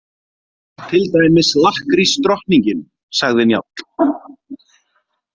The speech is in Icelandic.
Til dæmis lakkrísdrottningin, sagði Njáll.